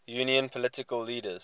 union political leaders